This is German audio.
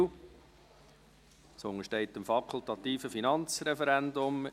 Es untersteht dem fakultativen Finanzreferendum.